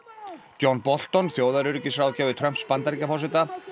John Bolton Trumps Bandaríkjaforseta